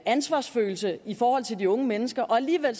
ansvarsfølelse i forhold til de unge mennesker og alligevel